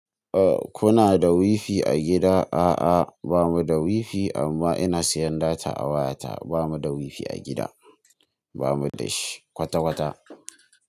A kuna da wifi a gida? A'a, ba mu da wifi amma ina siyan data a wayata. Ba mu da wifi a gida, ba mu da shi kwata-kwata.